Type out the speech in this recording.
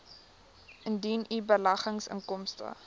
indien u beleggingsinkomste